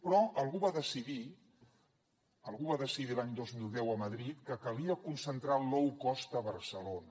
però algú va decidir algú va decidir l’any dos mil deu a madrid que calia concentrar el low cost a barcelona